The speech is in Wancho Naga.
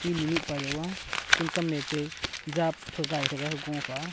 mihnu mihpa yaw a school kam mete jap thugai threga gofa a.